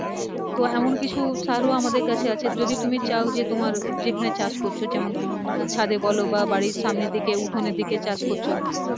তো এমন কিছু সার ও আমাদের কাছে আছে যদি তুমি চাও যে তোমার যেখানে চাষ করছো যেমন ছাদে বলো বা বাড়ির সামনে দিকে উঠোনের দিকে চাষ করছো